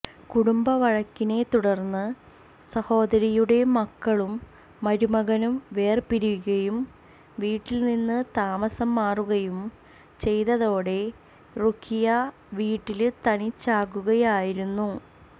കുടുംബ വഴക്കിനെ തുടര്ന്നു സഹോദരിയുടെ മകളും മരുമകനും വേര്പിരിയുകയും വീട്ടില്നിന്ന് താമസം മാറുകയും ചെയ്തതോടെ റുഖിയ വീട്ടില് തനിച്ചാകുകയായിരുന്നു